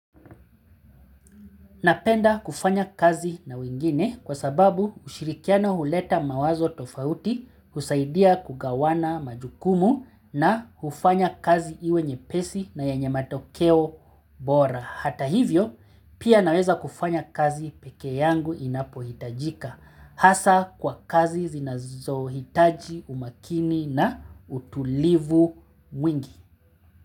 Napenda kufanya kazi na wengine kwa sababu ushirikiano huleta mawazo tofauti husaidia kugawana majukumu na hufanya kazi iwe nyepesi na yenye matokeo bora. Hata hivyo pia naweza kufanya kazi peke yangu inapohitajika hasa kwa kazi zinazohitaji umakini na utulivu mwingi.